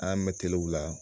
An y'a mɛn kile u la